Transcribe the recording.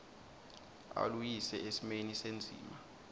aluyise esimeni sendzima